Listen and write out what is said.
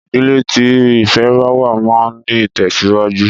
Ìdílé tí ìfẹ báwà máa ń ní ìtẹ̀síwájú.